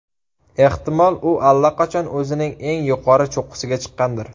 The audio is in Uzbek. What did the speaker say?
Ehtimol, u allaqachon o‘zining eng yuqori cho‘qqisiga chiqqandir.